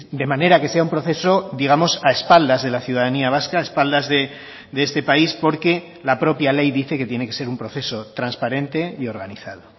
de manera que sea un proceso digamos a espaldas de la ciudadanía vasca a espaldas de este país porque la propia ley dice que tiene que ser un proceso transparente y organizado